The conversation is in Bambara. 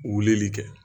Wulili kɛ